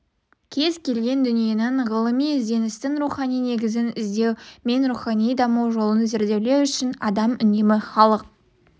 кез-келген дүниенің ғылыми ізденістің рухани негізін іздеу мен рухани даму жолын зерделеу үшін адам үнемі халық